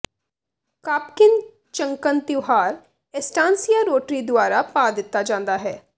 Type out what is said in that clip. ਕਾਪਕਿਨ ਚੰਕਨ ਤਿਉਹਾਰ ਐਸਟਾਨਸੀਆ ਰੋਟਰੀ ਦੁਆਰਾ ਪਾ ਦਿੱਤਾ ਜਾਂਦਾ ਹੈ